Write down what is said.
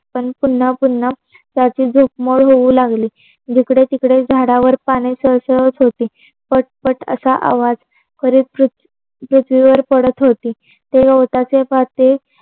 पण पुन्हा पुन्हा त्याची झोप मोड होऊ लागली. जिकडे तिकडे झाडावर पानी सळसळत होते. पट पट असा आवाज करीत ते पृथ्वीवर पडत होते. ते गवताचे पाते